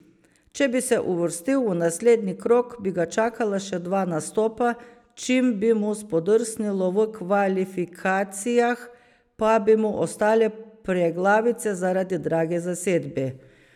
Če bi se uvrstil v naslednji krog, bi ga čakala še dva nastopa, čim bi mu spodrsnilo v kvalifikacijah, pa bi mu ostale preglavice zaradi drage zasedbe.